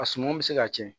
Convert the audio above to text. A suman bɛ se ka cɛn